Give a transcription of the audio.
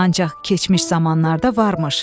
Ancaq keçmiş zamanlarda varmış.